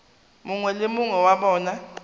mongwe le mongwe wa bona